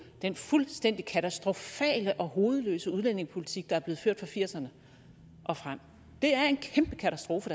den fuldstændig katastrofale og hovedløse udlændingepolitik der er blevet ført fra nitten firserne og frem det er en kæmpe katastrofe